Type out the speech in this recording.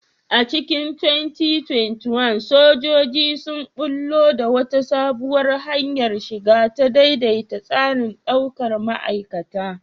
A cikin 2021, sojoji sun ɓullo da wata sabuwar hanyar shiga, ta daidaita tsarin daukar ma'aikata.